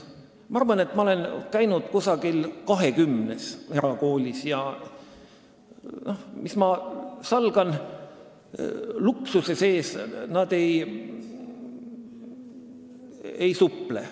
Ma arvan, et ma olen käinud umbes 20 erakoolis, ja mis ma salgan, luksuse sees nad ei suple.